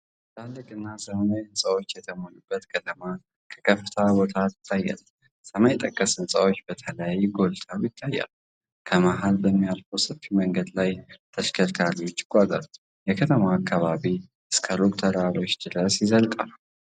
ትላልቅና ዘመናዊ ሕንፃዎች የተሞሉባት ከተማ ከከፍታ ቦታ ትታያለች። ሰማይ ጠቀስ ሕንፃዎች በተለይ ጎልተው ይታያሉ። ከመሀል በሚያልፍ ሰፊ መንገድ ላይ ተሽከርካሪዎች ይጓዛሉ። የከተማው አካባቢ እስከ ሩቅ ተራሮች ድረስ ይዘልቃል።